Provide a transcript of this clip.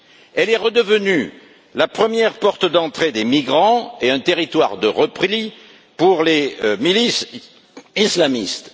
Elle est redevenue la première porte d'entrée des migrants et un territoire de repli pour les milices islamistes.